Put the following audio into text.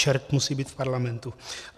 Čert musí být v parlamentu.